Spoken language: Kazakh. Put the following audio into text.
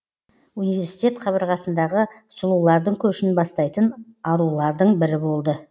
университет қабырғасындағы сұлулардың көшін бастайтын арулардың бірі болды